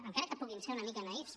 encara que puguin ser una mica naïfs